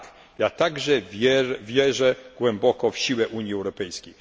Tak, ja także wierzę głęboko w siłę Unii Europejskiej.